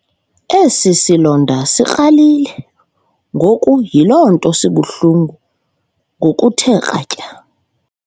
Esi silonda sikralile ngoku yiloo nto sibuhlungu ngokuthe kratya.